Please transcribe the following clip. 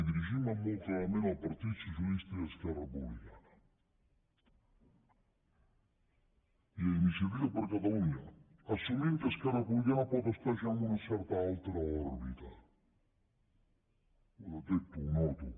i dirigint me molt clarament al partit socialista i esquerra republicana i a iniciativa per catalunya assumint que esquerra republicana pot estar ja en una certa altra òrbita ho detecto ho noto